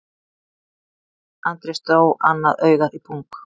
Andrés dró annað augað í pung